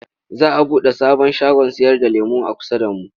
Za a buɗe sabon shagon sayarda lemo a kusa da mu.